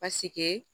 Pasike